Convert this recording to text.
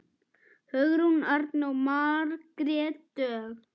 Hugrún Arna og Margrét Dögg.